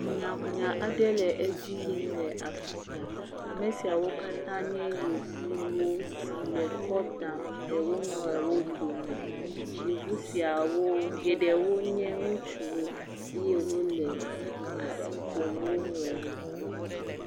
Hunyahunya aɖe le edzi yim le afi sia, ame siawo katã nye yevuwo si le kɔ dam le wo nɔewo dome, yevu siwo geɖewo nye ŋutsuwo eye wole asi ƒom wo nɔewo.